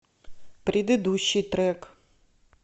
предыдущий трек